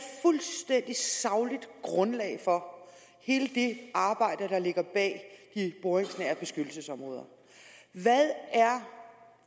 fuldstændig sagligt grundlag for hele det arbejde der ligger bag de boringsnære beskyttelsesområder hvad er